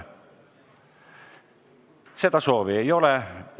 Seda soovi ei ole.